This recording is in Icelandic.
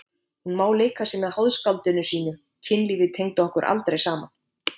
Hún má leika sér með háðskáldinu sínu, kynlífið tengdi okkur aldrei saman.